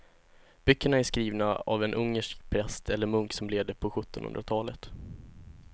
Böckerna är skrivna av en ungersk präst eller munk som levde på sjuttonhundratalet.